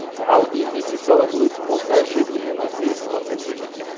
ал инвестициялық өсім болса жеті бүтін оннан сегіз процентке жеткен